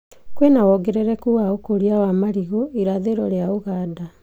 Kwĩna wongerereku wa ũkũria wa marigũ irathĩro rĩa Uganda